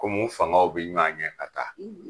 Kom'u fangaw be ɲɔan ɲɛ ka taa